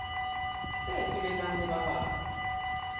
se sebetsang le ba bang